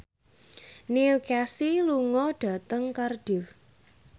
Neil Casey lunga dhateng Cardiff